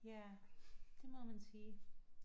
Ja det må man sige